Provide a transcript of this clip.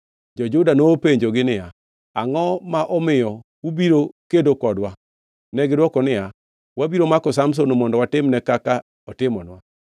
Jo-Juda nopenjogi niya, “Angʼo ma omiyo ubiro kedo kodwa?” Negidwokogi niya, “Wabiro mako Samson, mondo watimne kaka otimonwa.”